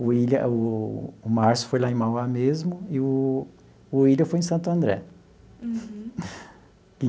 O Willian o o Márcio foi lá em Mauá mesmo e o o Willian foi em Santo André.